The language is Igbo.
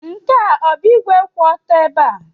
Nke a ọ bụ igwe kwụ otu ebe?